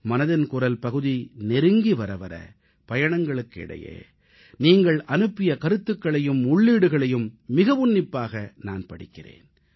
மனதின் குரல் பகுதி நெருங்கி வரவர பயணங்களுக்கு இடையே நீங்கள் அனுப்பிய கருத்துகளையும் உள்ளீடுகளையும் மிக உன்னிப்பாக நான் படிக்கிறேன்